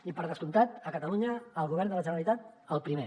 i per descomptat a catalunya el govern de la generalitat el primer